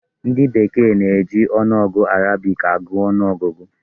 Ndị bekee na-eji ọnụọgụ Arabic agụ ọnụ ọgụgụ.